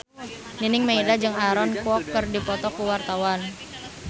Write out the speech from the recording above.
Nining Meida jeung Aaron Kwok keur dipoto ku wartawan